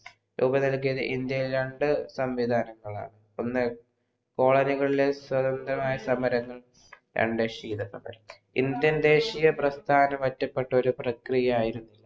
ലോക നിരക്കിൽ ഇന്ത്യയിൽ രണ്ടു സംവിദാനങ്ങളാണ് ഒന്ന് സ്വതന്ത്രമായ സമരങ്ങൾ രണ്ട ക്ഷീത സമര ഇന്ത്യ ദേശിയ പ്രസ്ഥാന ഒറ്റപ്പെട്ട ഒരു പ്രക്രിയ ആയിരുന്നു